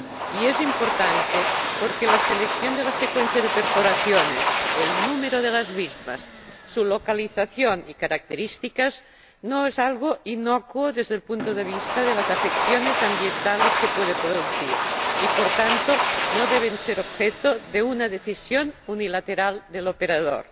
Y es importante porque la selección de la secuencia de perforaciones, el número de las mismas, su localización y sus características no son algo inocuo desde el punto de vista de las afecciones ambientales que pueden producir y, por tanto, no deben ser objeto de una decisión unilateral del operador.